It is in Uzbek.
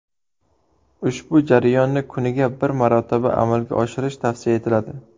Ushbu jarayonni kuniga bir marotaba amalga oshirish tavsiya etiladi.